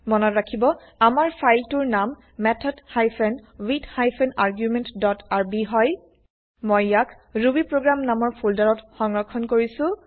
মনত ৰাখিব আমাৰ ফাইল টোৰ নাম method hyphen with hyphen argument dot R B হয় মই ইয়াক160 ৰুবিপ্ৰগ্ৰাম নামৰ ফোল্ডাৰত160 সংৰক্ষন কৰিছো